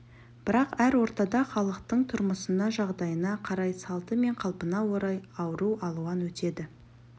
бірақ әр ортада халықтың тұрмысына жағдайына қарай салты мен қалпына орай ауру алуан өтеді